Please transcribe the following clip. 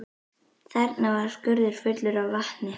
Þarna var skurður fullur af vatni.